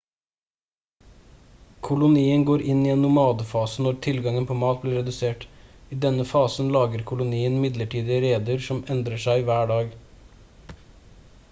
kolonien går inn i en nomadefase når tilgangen på mat blir redusert i denne fasen lager kolonien midlertidige reder som endrer seg hver dag